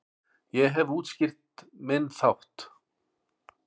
Ég hef útskýrt minn þátt.